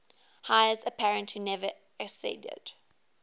heirs apparent who never acceded